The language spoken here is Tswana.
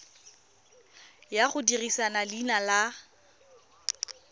ya go dirisa leina la